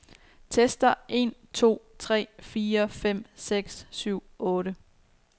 Tester en to tre fire fem seks syv otte.